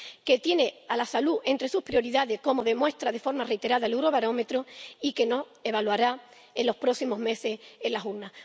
que tiene a la salud entre sus prioridades, como demuestra de forma reiterada el Eurobarómetro, y que nos evaluará en los próximos meses en las urnas.